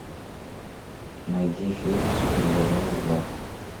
найди фильм супер бобровы два